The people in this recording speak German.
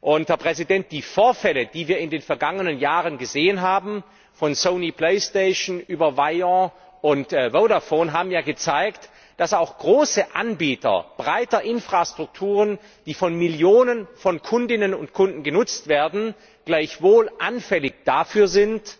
Die Vorfälle, die wir in den vergangenen Jahren gesehen haben, von Sony Playstation über Wire bis Vodafone, haben ja gezeigt, dass auch große Anbieter breiter Infrastrukturen, die von Millionen von Kundinnen und Kunden genutzt werden, gleichwohl anfällig dafür sind,